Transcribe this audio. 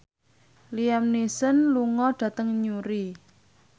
Liam Neeson lunga dhateng Newry